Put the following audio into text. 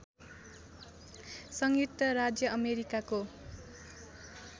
संयुक्त राज्य अमेरिकाको